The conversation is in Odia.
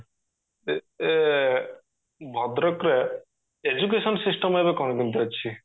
ଯେ ଏ ଭଦ୍ରକ ରେ education system ଏବେ କଣ କେମିତି ଅଛି?